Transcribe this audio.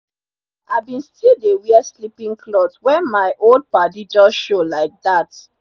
i been still dey wear sleepin cloth wen my old padi jus show laidat